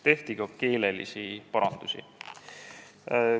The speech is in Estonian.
Tehti ka keelelisi parandusi.